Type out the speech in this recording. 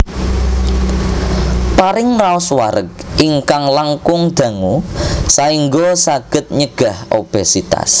Paring raos wareg ingkang langkung dangu saéngga saged nyegah obesitas